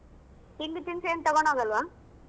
ತಿಂಡಿ ತಿನ್ಸು ಏನ್ ತಗೊಂಡ್ ಹೋಗಲ್ವಾ?